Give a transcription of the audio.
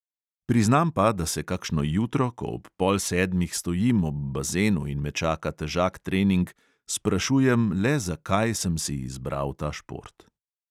Priznam pa, da se kakšno jutro, ko ob pol sedmih stojim ob bazenu in me čaka težak trening, sprašujem, le zakaj sem si izbral ta šport.